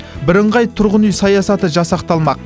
бірыңғай тұрғын үй саясаты жасақталмақ